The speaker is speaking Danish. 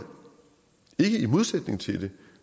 er ikke i modsætning til det